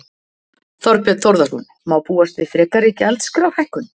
Þorbjörn Þórðarson: Má búast við frekari gjaldskrárhækkun?